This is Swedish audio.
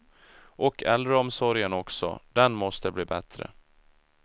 Och äldreomsorgen också, den måste bli bättre.